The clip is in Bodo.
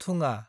थुङा